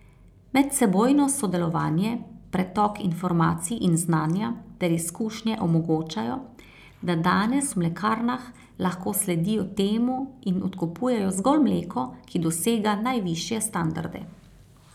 Medsebojno sodelovanje, pretok informacij in znanja ter izkušnje omogočajo, da danes v mlekarnah lahko sledijo temu in odkupujejo zgolj mleko, ki dosega najvišje standarde.